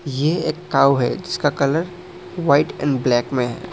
ये एक काऊ है जिसका कलर वाइट एंड ब्लैक में है।